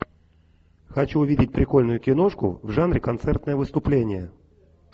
хочу увидеть прикольную киношку в жанре концертное выступление